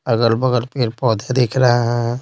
अगल-बगल पर पौधे दिख रहा है।